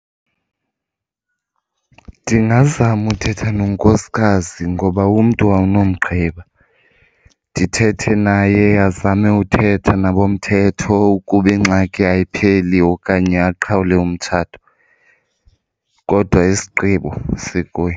Ndingazama uthetha nonkosikazi ngoba umntu awunomgqiba. Ndithethe naye azame uthetha nabomthetho ukuba ingxaki ayipheli okanye aqhawule umtshato, kodwa isigqibo sikuye.